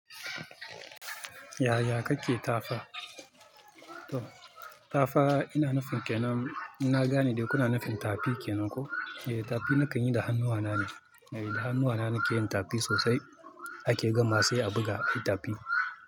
Yaya kake tafa? To tafa ina nufin ke nan? Na gane dai kuna nufin tafi ke nan ko? Ehh, tafi na kan yi da hannuwa na ne. Da hannuwa na nake yin tafi sosai. Ake gama sai a buga fitafi.